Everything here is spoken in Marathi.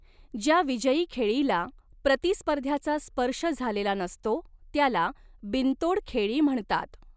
ज्या विजयी खेळीला प्रतिस्पर्ध्याचा स्पर्श झालेला नसतो त्याला 'बिनतोड खेळी' म्हणतात.